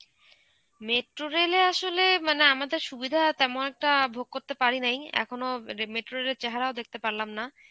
metro rail এ আসলে মানে আমাদের সুবিধা তেমন একটা ভোগ করতে পারি নাই. এখনো metro rail এর চেহারাও দেখতে পারলাম না.